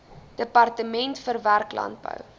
departement verwerk landbou